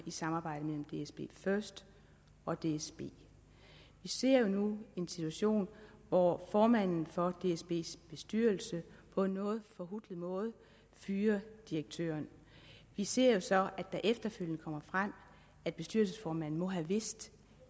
i samarbejdet mellem dsbfirst og dsb vi ser nu en situation hvor formanden for dsbs bestyrelse på en noget forhutlet måde fyrer direktøren vi ser så at det efterfølgende kommer frem at bestyrelsesformanden må have vidst